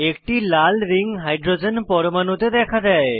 একটি লাল ring hydrogen পরমাণুতে দেখা দেয়